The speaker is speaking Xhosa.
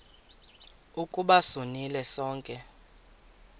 ukuba sonile sonke